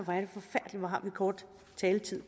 kort taletid